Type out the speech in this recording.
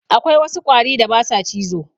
Akwai wasu ƙwari da ba sa cizo.